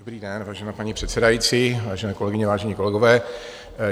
Dobrý den, vážená paní předsedající, vážené kolegyně, vážení kolegové.